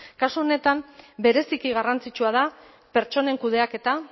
kasu honetan bereziki garrantzitsua da pertsonen kudeaketa